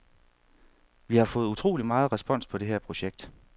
Vi har fået utrolig meget respons på det her projekt.